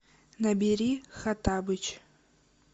набери хоттабыч